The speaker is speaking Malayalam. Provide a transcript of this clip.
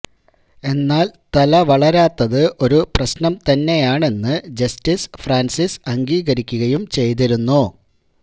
എന്നാൽ തല വളരാത്തത് ഒരു പ്രശ്നം തന്നെയാണെന്ന് ജസ്റ്റിസ് ഫ്രാൻസിസ് അംഗീകരിക്കുകയും ചെയ്തിരുന്നു